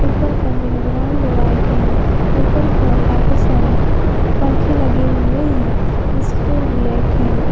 ऊपर का background white है ऊपर की ओर काफी सारे पंखे लगे हुए हैं जिसकी कलर ब्लैक है।